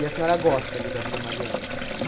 E a senhora gosta ali da Vila Mariana?